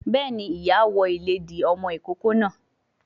Béèni, ìyá ìlédìí ọmọ ìkókó náà